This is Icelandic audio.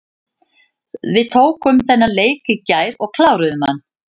Við tókum þennan leik í gær og kláruðum hann.